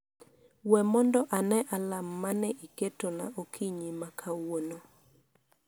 we mondo ane alarm ma ne iketona okinyi ma kawuono